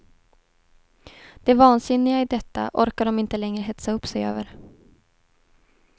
Det vansinniga i detta orkar de inte längre hetsa upp sig över.